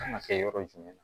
Kan ka kɛ yɔrɔ jumɛn na